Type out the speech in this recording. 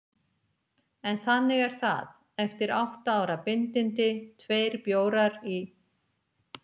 En þannig er það: Eftir átta ára bindindi, tveir bjórar í